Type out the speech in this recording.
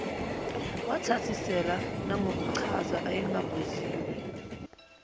wathasisela nangokuchaza ayengakubuziwe